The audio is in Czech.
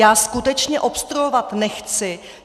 Já skutečně obstruovat nechci.